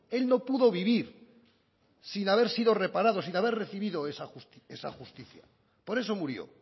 él no pudo vivir sin haber sido reparado sin haber recibido esa justicia por eso murió